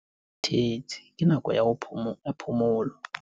Ke kgathetse ke nako ya phomolo.